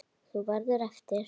Þú verður eftir.